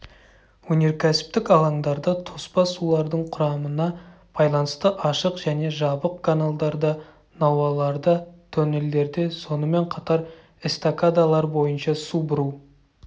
өнеркәсіптік алаңдарда тоспа сулардың құрамына байланысты ашық және жабық каналдарда науаларда тоннелдерде сонымен қатар эстакадалар бойынша су бұру